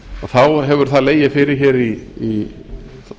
þá hefur það legið fyrir hér í